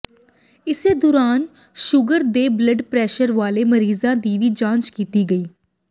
ਇਸੇ ਦੌਰਾਨ ਸ਼ੂਗਰ ਤੇ ਬਲੱਡ ਪ੍ਰੈਸ਼ਰ ਵਾਲੇ ਮਰੀਜ਼ਾਂ ਦੀ ਵੀ ਜਾਂਚ ਕੀਤੀ ਗਈ